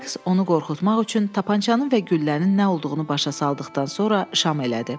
Sykes onu qorxutmaq üçün tapançanın və güllənin nə olduğunu başa saldıqdan sonra şam elədi.